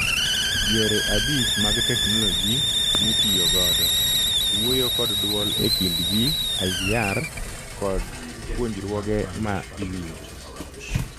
Yore abich mag technologi mitiyo godo; wuoyo kod dwol ekind ji (IVR),kod puonjruoge ma iwinjo